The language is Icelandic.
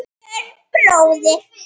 Björn bróðir.